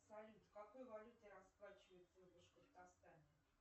салют в какой валюте расплачиваются в башкартостане